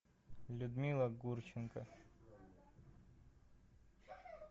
людмила гурченко